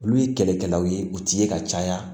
Olu ye kɛlɛkɛlaw ye u ti ye ka caya